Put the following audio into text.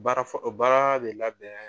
Baara fɔ baara bɛ labɛn